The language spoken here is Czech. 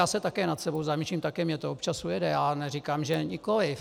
Já se také nad sebou zamýšlím, také mi to občas ujede, já neříkám, že nikoliv.